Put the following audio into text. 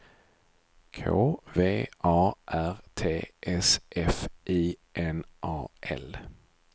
K V A R T S F I N A L